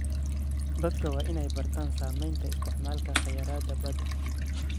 Dadku waa inay bartaan saameynta isticmaalka kheyraadka badda.